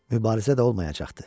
Mübarizə də olmayacaqdı.